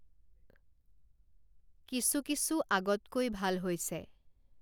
কিছু কিছু আগতকৈ ভাল হৈছে